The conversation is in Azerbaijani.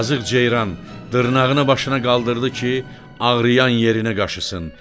Yazıq ceyran dırnağını başına qaldırdı ki, ağrıyan yerini qaşısın.